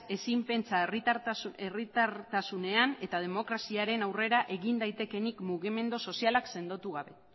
ezin pentsa herritartasunean eta demokraziaren aurrera egin daitekeenik mugimendu sozialak sendotu gabe